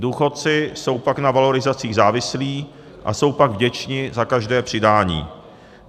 Důchodci jsou pak na valorizacích závislí a jsou pak vděčni za každé přidání.